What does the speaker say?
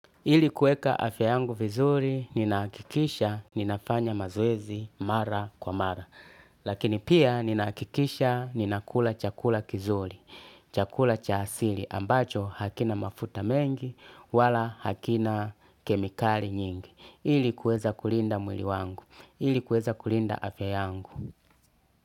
Ili kueka afya yangu vizuri, ninahakikisha, ninafanya mazoezi mara kwa mara. Lakini pia, ninahakikisha, ninaakula chakula kizuri, chakula cha asili, ambacho hakina mafuta mengi, wala hakina kemikali nyingi. Ili kueza kulinda mwili wangu, ili kueza kulinda afya yangu.